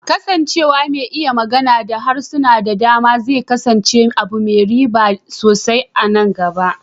Kasancewa mai iya magana da harsuna da dama zai kasance abu mai riba sosai a nan gaba.